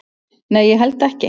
"""Nei, ég held ekki."""